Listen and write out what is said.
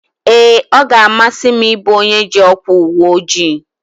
Ee, ọ ga-amasị m ị bụ onye ji ọkwa uweojii